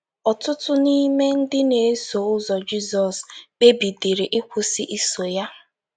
Ọtụtụ n’ime ndị na - eso ụzọ Jizọs kpebidịrị ịkwụsị iso ya.